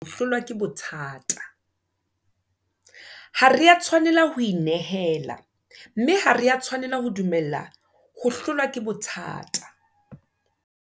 Ha re a tshwanela ho inehela, mme ha re a tshwanela ho dumella ho hlolwa ke bothata.